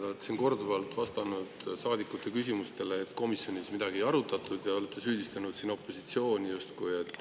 Te olete siin korduvalt vastanud saadikute küsimustele, et komisjonis midagi ei arutatud, ja olete süüdistanud opositsiooni.